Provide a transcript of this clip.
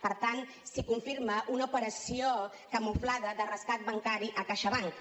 per tant si confirma una operació camuflada de rescat bancari a caixabank